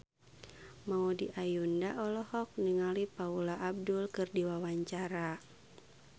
Maudy Ayunda olohok ningali Paula Abdul keur diwawancara